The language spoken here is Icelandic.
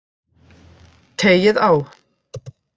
Teygið á.